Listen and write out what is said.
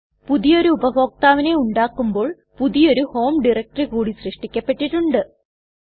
പുതിയൊരു ഉപഭോക്താവിനെ ഉണ്ടാക്കുമ്പോൾ പുതിയൊരു ഹോം ഡയറക്ടറി കൂടി സൃഷ്ടിക്കപ്പെട്ടിട്ട്ണ്ട്